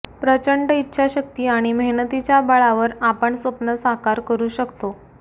प्रचंड इच्छाशक्ती आणि मेहनतीच्या बळावर आपण स्वप्न साकार करु शकतो